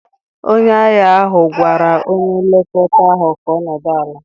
Onye agha ahụ gwara onye nlekọta ahụ ka ọ nọdụ ala!